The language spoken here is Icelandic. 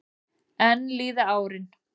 Enn líða árin.